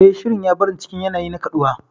Eh, Shirin ya bar ni cikin yanayi na kaɗuwa.